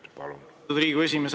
Lugupeetud Riigikogu esimees!